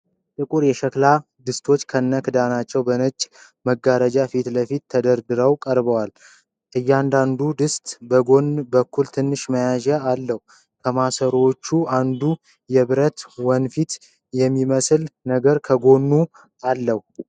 ጥቁር የሸክላ ድስቶች ከነ ክዳኖቻቸው በነጭ መጋረጃ ፊትለፊት ተደርድረው ቀርበዋል። እያንዳንዱ ድስቶች በጎን በኩል ትንሽ መያዣ አለው። ከማሰሮዎቹ አንዱ የብረት ወንፊት የሚመስል ነገር ከጎኑ አለው።